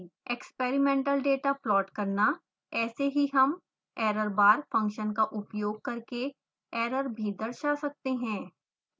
experimental data plot करना ऐसे ही हम errorbar फंक्शन का उपयोग करके एरर भी दर्शा सकते हैं